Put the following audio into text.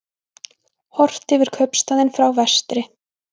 Horft yfir kaupstaðinn frá vestri.